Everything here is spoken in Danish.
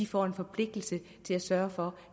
får en forpligtelse til at sørge for